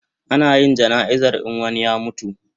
Ana yin jana'izar in wani ya mutu